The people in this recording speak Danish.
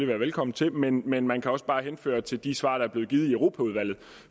være velkommen til men men man kan også bare henføre til de svar der er blevet givet i europaudvalget